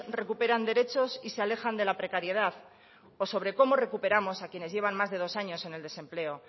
recuperan derechos y se alejan de la precariedad o sobre cómo recuperamos a quienes llevan más de dos años en el desempleo